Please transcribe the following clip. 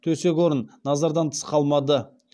төсек орын назардан тыс қалмады